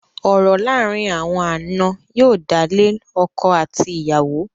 Ọ̀rọ̀ láàárín àwọn ànà yóò dálé ọkọ àti ìyàwó.